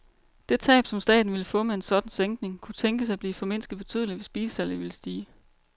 Det tab, som staten ville få med en sådan sænkning, kunne tænkes at blive formindsket betydeligt, hvis bilsalget ville stige.